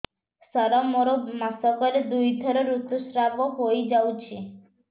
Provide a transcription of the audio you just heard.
ସାର ମୋର ମାସକରେ ଦୁଇଥର ଋତୁସ୍ରାବ ହୋଇଯାଉଛି